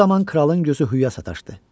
Bu zaman kralın gözü hüya sataşdı.